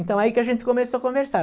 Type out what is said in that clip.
Então, aí que a gente começou a conversar.